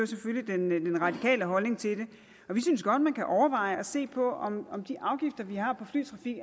selvfølgelig den radikale holdning til det og vi synes godt at man kan overveje at se på om de afgifter vi har på flytrafik